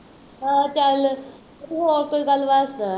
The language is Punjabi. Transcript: ਹਾਂ ਚੱਲ, ਤੂੰ ਹੋਰ ਕੋਈ ਗੱਲਬਾਤ ਸੁਣਾ